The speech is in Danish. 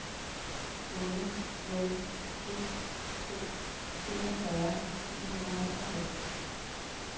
otte nul en to enogfyrre ni hundrede og fem